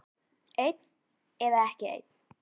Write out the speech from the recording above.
Einn eða ekki einn.